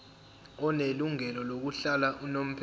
onelungelo lokuhlala unomphela